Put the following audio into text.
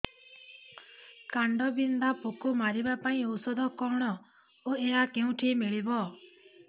କାଣ୍ଡବିନ୍ଧା ପୋକ ମାରିବା ପାଇଁ ଔଷଧ କଣ ଓ ଏହା କେଉଁଠାରୁ ମିଳିବ